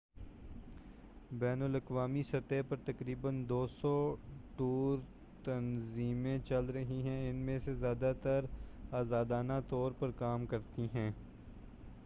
بین الاقوامی سطح پر تقریبا 200 ٹور تنظیمیں چل رہی ہیں ان میں سے زیادہ تر آزادانہ طور پر کام کرتی ہیں